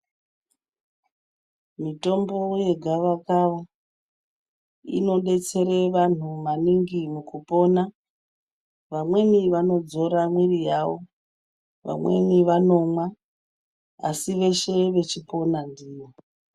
Mitombo yegavakava inodetsera vanhu maningi mukupona, vamweni vanodzore mwiri yavo vamweni vanomwa asi veshe vachipona ndiyo.